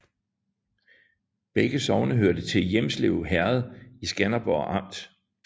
Begge sogne hørte til Hjelmslev Herred i Skanderborg Amt